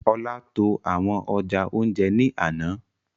Ọlá tó àwọn ọjà ounjẹ ní àna